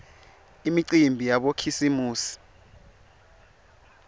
imicimbi yabokhisimusi